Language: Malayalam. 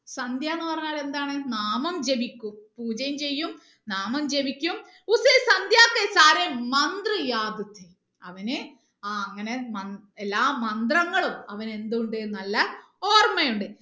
എന്ന് പറഞ്ഞാൽ എന്താണ് നാമം ജപിക്കും പൂജയും ചെയ്യും നാമം ജപിക്കും അവന് ആ അങ്ങനെ മന്ത്ര എല്ലാ മന്ത്രങ്ങളും അവന് എന്തുണ്ട് നല്ല ഓർമ്മ ഉണ്ട്